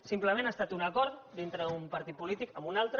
simplement ha estat un acord dintre d’un partit polític amb un altre